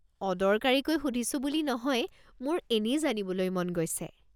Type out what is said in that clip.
অদৰকাৰীকৈ সুধিছো বুলি নহয় মোৰ এনেই জানিবলৈ মন গৈছে।